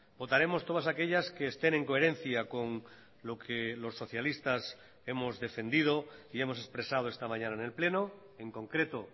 votaremos todas aquellas que estén en coherencia con lo que los socialistas hemos defendido y hemos expresado esta mañana en el pleno en concreto